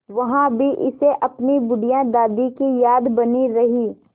वहाँ भी इसे अपनी बुढ़िया दादी की याद बनी रही